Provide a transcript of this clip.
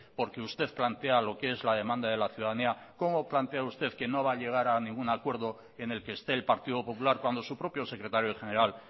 porque usted plantea lo que es la demanda de la ciudadanía cómo plantea usted que no va a llegar a ningún acuerdo en el que esté el partido popular cuando su propio secretario general